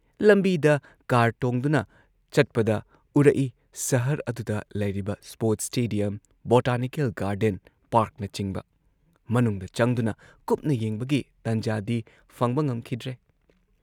ꯂꯝꯕꯤꯗ ꯀꯥꯔ ꯇꯣꯡꯗꯨꯅ ꯆꯠꯄꯗ ꯎꯔꯛꯏ ꯁꯍꯔ ꯑꯗꯨꯗ ꯂꯩꯔꯤꯕ ꯁ꯭ꯄꯣꯔꯠꯁ ꯁ꯭ꯇꯦꯗꯤꯌꯝ, ꯕꯣꯇꯥꯅꯤꯀꯦꯜ ꯒꯥꯔꯗꯦꯟ, ꯄꯥꯔꯛꯅꯆꯤꯡꯕ ꯃꯅꯨꯡꯗ ꯆꯪꯗꯨꯅ ꯀꯨꯞꯅ ꯌꯦꯡꯕꯒꯤ ꯇꯟꯖꯥꯗꯤ ꯐꯪꯕ ꯉꯝꯈꯤꯗ꯭ꯔꯦ